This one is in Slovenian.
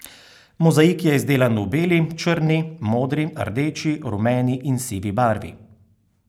Mozaik je izdelan v beli, črni, modri, rdeči, rumeni in sivi barvi.